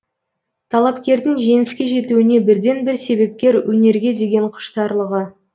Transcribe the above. талапкердің жеңіске жетуіне бірден бір себепкер өнерге деген құштарлығы